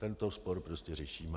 Tento spor prostě řešíme.